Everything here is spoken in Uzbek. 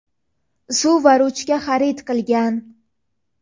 suv va ruchka xarid qilgan.